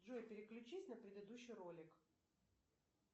джой переключись на предыдущий ролик